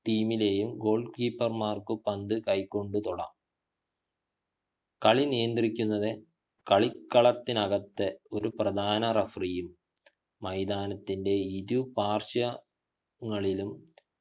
team ലെയു goal keeper മാർക്ക് പന്തു കൈകൊണ്ടു തൊടാ കളിനിയന്ത്രിക്കുന്നതിന് കളിക്കളത്തിനകത്ത് ഒരു പ്രധാന referee യും മൈതാനത്തിൻ്റെ ഇരു partial ങ്ങളിലും